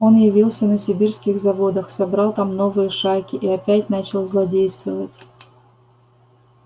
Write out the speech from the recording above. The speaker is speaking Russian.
он явился на сибирских заводах собрал там новые шайки и опять начал злодействовать